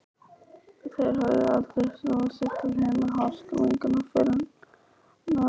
Þeir höfðu aldrei snúið sér til hinna háskólagengnu fyrirrennara minna.